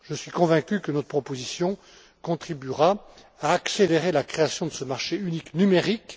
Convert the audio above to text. Je suis convaincu que notre proposition contribuera à accélérer la création de ce marché unique numérique.